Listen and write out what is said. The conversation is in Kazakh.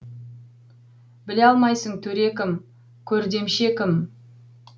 біле алмайсың төре кім көрдемше кім